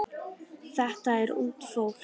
Þetta er ungt fólk.